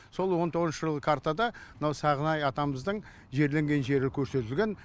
сол он тоғызыншы жылғы картада мынау сағынай атамыздың жерленген жері көрсетілген